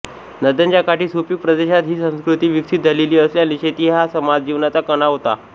नद्यांच्या काठी सुपीक प्रदेशात ही संस्कृती विकसित झालेली असल्याने शेती हा समाज जीवनाचा कणा होता